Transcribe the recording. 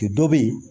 Ki dɔ be yen